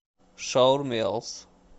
шаурмелс